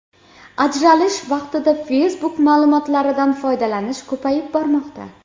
Ajralish vaqtida Facebook ma’lumotlaridan foydalanish ko‘payib bormoqda.